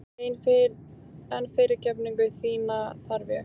En fyrirgefningu þína þarf ég.